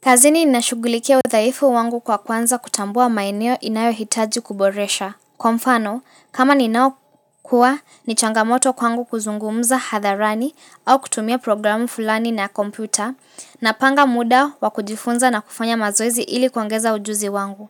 Kazini ninashughulikia udhaifu wangu kwa kwanza kutambua maeneo inayohitaji kuboresha. Kwa mfano, kama ninaokua, ni changamoto kwangu kuzungumza hadharani, au kutumia programu fulani na komputa napanga muda wa kujifunza na kufanya mazoezi ili kuongeza ujuzi wangu.